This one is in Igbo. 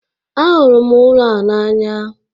Ahụrụ m ụlọ a n'anya